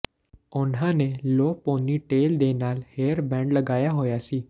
ਉਨ੍ਹਾਂ ਨੇ low ponytail ਦੇ ਨਾਲ ਹੇਅਰ ਬੈਂਡ ਲਗਾਇਆ ਹੋਇਆ ਸੀ